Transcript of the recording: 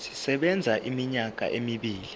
sisebenza iminyaka emibili